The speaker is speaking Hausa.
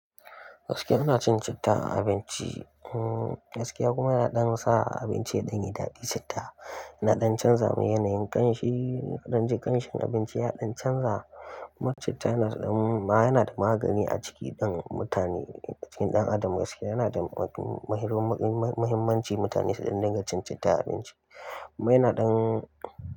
Gaskiya ina cin citta a abinci. Hmm gaske ya kuma ina ɗan sa abinci yaɗan yi daɗi, citta na ɗan canza ma yanayin ƙamshi, na ɗan ji ƙamshin abinci ya ɗan canza. Kuma citta yana da magani a cikin ɗan adam gaskiya yana da mahimmanci mutane su dinga cin citta a abinci. Mai na ɗan.